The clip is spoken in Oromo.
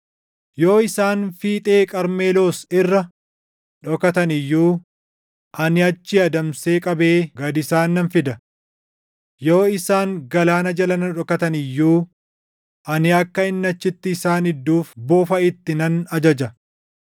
Yoo isaan fiixee Qarmeloos irra dhokatan iyyuu, ani achii adamsee qabee // gad isaan nan fida. Yoo isaan galaana jala na dhokatan iyyuu, ani akka inni achitti isaan idduuf bofa itti nan ajaja.